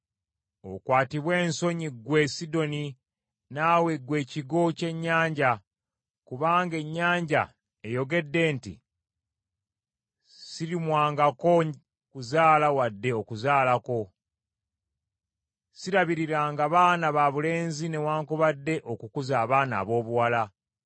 Okwatibwe ensonyi ggwe Sidoni naawe ggwe ekigo ky’ennyanja, kubanga ennyanja eyogedde nti: “Sirumwangako kuzaala wadde okuzaalako. Sirabiriranga baana babulenzi newaakubadde okukuza abaana aboobuwala.”